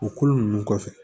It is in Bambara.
O kolo nunnu kɔfɛ